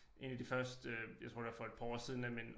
1 af de første jeg tror det var for et par år siden da min